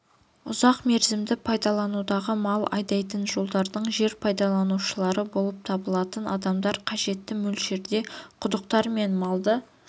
ұзақ мерзімді пайдаланудағы мал айдайтын жолдардың жер пайдаланушылары болып табылатын адамдар қажетті мөлшерде құдықтар мен малды